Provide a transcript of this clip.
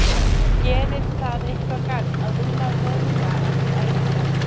Gerir það eitthvað gagn að rúlla vöðva eftir æfingar?